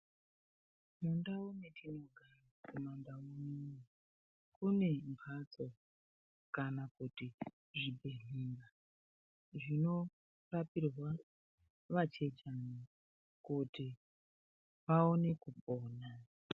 Mundau metinogara mumaNdau munomu kunembatso kana kuti zvibhedhleya zvinorapirwa vachechana kuti aone kupona.